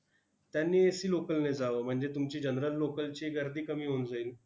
त्यांनी AClocal ने जावं, म्हणजे तुमची general local ची गर्दी कमी होऊन जाईल.